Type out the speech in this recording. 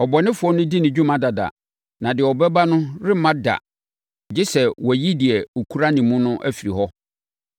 Ɔbɔnefoɔ no di ne dwuma dada na deɛ ɛbɛba no remma da gye sɛ wɔayi deɛ ɔkura ne mu no afiri hɔ.